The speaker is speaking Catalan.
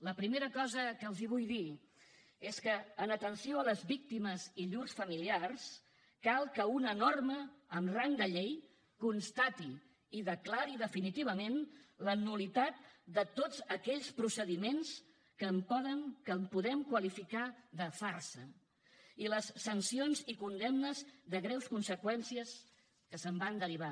la primera cosa que els vull dir és que en atenció a les víctimes i llurs familiars cal que una norma amb rang de llei constati i declari definitivament la nul·litat de tots aquells procediments que podem qualificar de farsa i les sancions i condemnes de greus conseqüències que se’n van derivar